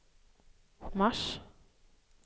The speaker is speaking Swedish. mars